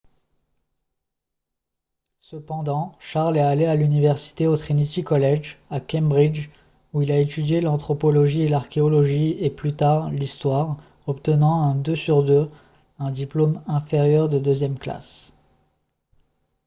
cependant charles est allé à l’université au trinity college à cambridge où il a étudié l’anthropologie et l’archéologie et plus tard l’histoire obtenant un 2:2 un diplôme inférieur de deuxième classe